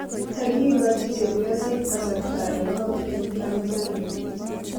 kagigachi chepyoseet kasarta en koot en Tanzani?